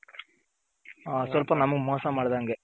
ಸ್ವಲ್ಪ ನಮ್ಗೆ ಮೋಸ ಮಾಡ್ದಂಗೆ